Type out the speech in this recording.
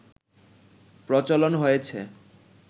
প্রচলন হয়েছে